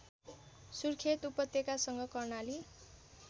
सुर्खेत उपत्यकासँग कर्णाली